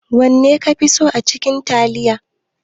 wanne kafi so acikin taliya?